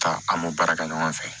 Taa an b'o baara kɛ ɲɔgɔn fɛ